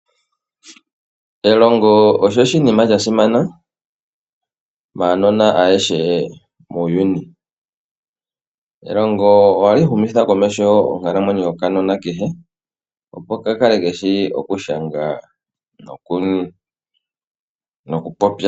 Elongo osho oshinima shasimana maanona ayehe muuyuni. Elongo ohali humitha komeho onkalamwenyo yokanona kehe opo ka kale keshi okushanga nokupopya.